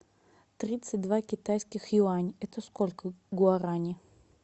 тридцать два китайских юань это сколько гуарани